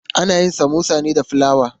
Ana yin samosa ne da fulawa.